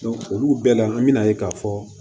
olu bɛɛ la an mi na ye k'a fɔ